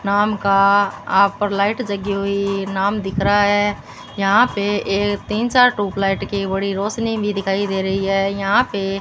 नाम का आप पर लाइट जगी हुई नाम दिख रहा है यहां पे एक तीन चार ट्यूबलाइट की बड़ी रोशनी भी दिखाई दे रही है यहां पे--